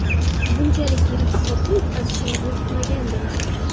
Bunchalik yirik hisobda yutqazishimizni kutmagandim.